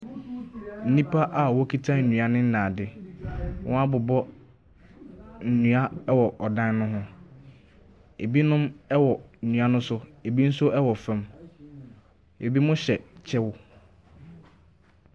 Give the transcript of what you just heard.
Nnipa a wɔn kita nnuane ne ade. Wɔn abobɔ nnua ɔwɔ ɔdan no ho. Ebinom ɛwɔ nnua no so, ebinom nso ɛwɔ fam. Ebinom hyɛ kyɛw.